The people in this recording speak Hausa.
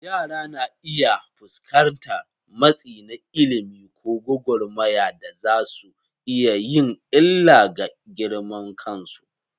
Yara na iya fuskantar matsi na ilimi ko gwagwarmaya da za su iya yin illa ga girman kansu.